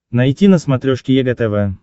найти на смотрешке егэ тв